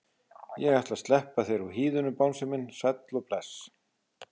Ég ætla að sleppa þér úr hýðinu bangsi minn sæll og bless.